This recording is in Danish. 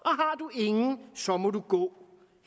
ingen så må du gå